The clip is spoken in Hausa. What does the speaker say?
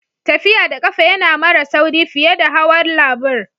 Tafiya da kafa ya na mara sauri fiye da hawan labur.